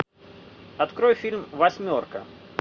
открой фильм восьмерка